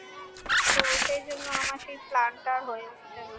তো সেইজন্য আমার সেই plan টা আর হয়ে উঠছে না